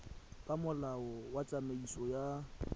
ka molao wa tsamaiso ya